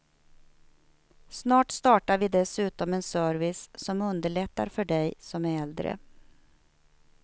Snart startar vi dessutom en service som underlättar för dig som är äldre.